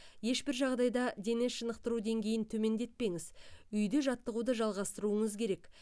ешбір жағдайда дене шынықтыру деңгейін төмендетпеңіз үйде жаттығуды жалғастыруыңыз керек